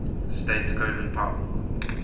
state colin powell